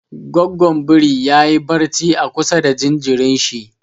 Goggon biri ya yi barci a kusa da jinjirin shi.